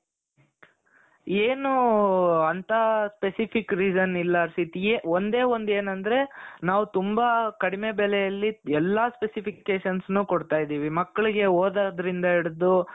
ಏನೂ ಅಂತ specific reason ಇಲ್ಲಾ ಹರ್ಷಿತ್ ಏ ಒಂದೇ ಒಂದ್ ಏನ್ ಅಂದ್ರೆ ನಾವ್ ತುಂಬಾ ಕಡಿಮೆ ಬೆಲೆಯಲ್ಲಿ ಎಲ್ಲಾ specificationsನೂ ಕೊಡ್ತಾ ಇದ್ದೀವಿ ಮಕ್ಕಳಿಗೆ ಓದೋದ್ರಿಂದ ಹಿಡಿದು